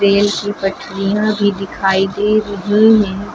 Rail की पटरियां भी दिखाई दे रही हैं।